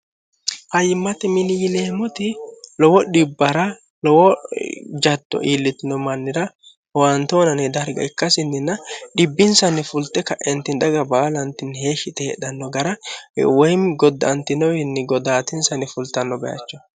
hayyimmate miliyileemoti lowo dhibbara lowo jatto iillitino mannira howantoonani darga ikkasinninna dhibbinsanni fulte ka'enti daga baalantinni heeshshite hedhanno gara woyimmi godda antinowinni goddaatinsanni fultanno bayacho